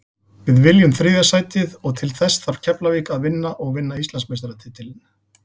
Við viljum þriðja sætið og til þess þarf Keflavík að vinna og vinna Íslandsmeistaratitilinn.